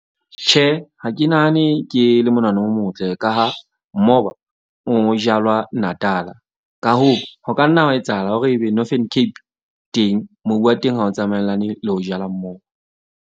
Tjhe, ha ke nahane ke le monahano o motle. Ka ha mmoba o jalwa Natal-a ka hoo, ho ka nna hwa etsahala hore ebe Northern Cape teng, mobu wa teng ha o tsamaellane le ho jala moo.